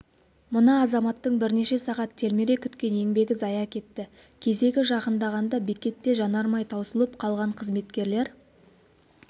мына азаматтың бірнеше сағат телміре күткен еңбегі зая кетті кезегі жақындағанда бекетте жанармай таусылып қалған қызметкерлер